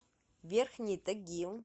верхний тагил